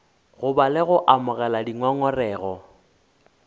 goba le go amogela dingongorego